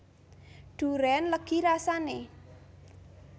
Durén legi rasane